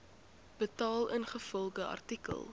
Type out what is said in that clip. betaal ingevolge artikel